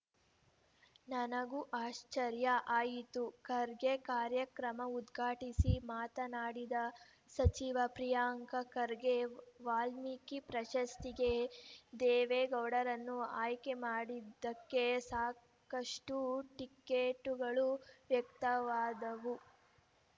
ನನಗೂ ಆಶ್ಚರ್ಯ ಆಯಿತು ಖರ್ಗೆ ಕಾರ್ಯಕ್ರಮ ಉದ್ಘಾಟಿಸಿ ಮಾತನಾಡಿದ ಸಚಿವ ಪ್ರಿಯಾಂಕ ಖರ್ಗೆ ವಾಲ್ಮೀಕಿ ಪ್ರಶಸ್ತಿಗೆ ದೇವೇಗೌಡರನ್ನು ಆಯ್ಕೆ ಮಾಡಿದ್ದಕ್ಕೆ ಸಾಕಷ್ಟು ಟಿಕೆಟುಗಳು ವ್ಯಕ್ತವಾದವು